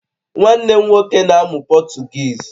Nwanne m nwoke na-amụ Potugeez